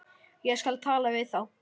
Ég skal tala við þá.